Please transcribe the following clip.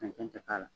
Cɛncɛn tɛ k'a la